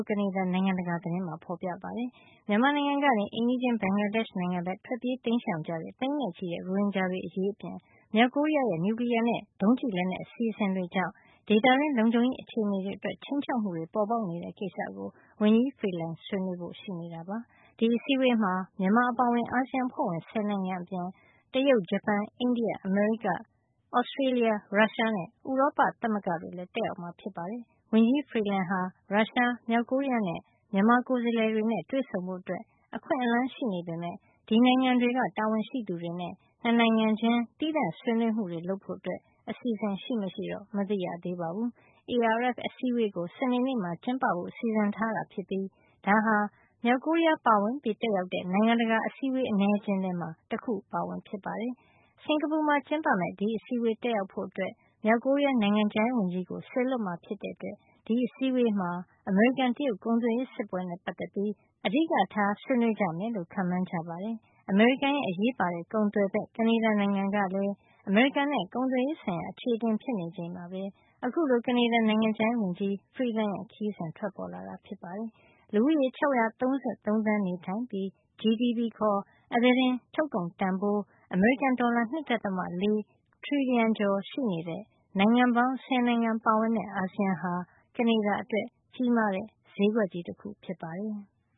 ကနေဒါ နိုင်ငံတကာ သတင်းမှာ ဖေါ်ပြထားပါတယ်။ မြန်မာနိုင်ငံကနေ အိမ်နီးချင်းဘင်္ဂလားဒေ့ရှ် နိုင်ငံဘက်ကို ထွက်ပြေးတိမ်းရှောင်ကြတဲ့ သိန်းနဲ့ချီတဲ့ ရိုဟင်ဂျာတွေ အရေးအပြင် မြောက်ကိုရီးယားရဲ့ နျူကလီယားနဲ့ ဒုံးကျည်လက်နက် အစီအစဉ်တွေကြောင့် ဒေသတွင်း လုံခြုံရေး အခြေအနေအတွက် ခြိမ်းခြောက်မှုတွေ ပေါ်ပေါက်နေတဲ့ ကိစ္စကို ဝန်ကြီး Freeland ဆွေးနွေးဖို့ ရှိတာပါ။ ဒီအစည်းအဝေးမှာ မြန်မာအပါအဝင် အာဆီယံအဖွဲ့ဝင် ၁၀ နိုင်ငံအပြင် တရုတ်၊ ဂျပန်၊ အိန္ဒိယ၊ အမေရိက၊ Australia ရုရှား နဲ့ ဥရောပသမဂ္ဂ တို့လည်း တက်ရောက်မှာ ဖြစ်ပါတယ်။ ဝန်ကြီး Freeland ဟာ ရုရှား၊ မြောက်ကိုရီးယားနဲ့ မြန်မာကိုယ်စားလှယ်တွေနဲ့ တွေ့ဆုံဖို့ အခွင့်အလန်း ရှိနေပေမယ့် ဒီနိုင်ငံတွေက တာဝန်ရှိသူတွေနဲ့ ၂ နိုင်ငံချင်း သီးသန့် ဆွေးနွေးမှုတွေ လုပ်ဖို့ အစီစဉ် ရှိမရှိတော့ မသိရသေးပါဘုူး။ ARF အစည်းအဝေးကို စနေနေ့မှာ ကျင်းပဖို့ စီစဉ်ထားတာဖြစ်ပြီး ဒါဟာ မြောက်ကိုရီးယားပါဝင် တက်ရောက်တဲ့ နိုင်ငံတကာအစည်းအဝေး အနည်းအကျဉ်းထဲမှာ တခုအပါအဝင် ဖြစ်ပါတယ်။ စင်္ကာပူမှာ ကျင်းပမယ့် ဒီအစည်းအဝေးတက်ရောက်ဖို့ မြောက်ကိုရီးယား နိုင်ငံခြားရေးဝန်ကြီး ကို စေလွှတ်မှာ ဖြစ်တဲ့အတွက် ဒီအစည်းဝေးမှာ အမေရိကန်- တရုတ် ကုန်သွယ်ရေး စစ်ပွဲနဲ့ ပတ်သက်ပြီး အဓိကထား ဆွေးနွေးကြမယ်လို့ ခန့်မှန်းကြပါတယ်။ အမေရိကန်ရဲ့ အရေးပါတဲ့ ကုန်သွယ်ဖက် ကနေဒါ နိုင်ငံကလည်း အမေရိကန်နဲ့ ကုန်သွယ်ရေး ဆိုင်ရာ အခြေအတင်ဖြစ်နေချိန်မှာပဲ အခုလို ကနေဒါနိုင်ငံခြားရေးဝန်ကြီး Freeland ရဲ့ ခရီးစဉ် ထွက်ပေါ်လာတာဖြစ်ပါတယ်။ လူဦးရေ ၆၃၃ သန်း နေထိုင်ပြီး GDP ခါ် အသားတင်ထုတ်ကုန်တန်ဖိုး အမေရိကန် ဒေါ်လာ ၂.၄ ထရီလီယံ ကျော်ရှိနေတဲ့ နိုင်ငံပေါင်း ဆယ်နိုင်ငံပါဝင်တဲ့ အာဆီယံဟာ ကနေဒါ အတွက် ကြီးမားတဲ့ ဈေးကွက်ကြီး တခု ဖြစ်ပါတယ်။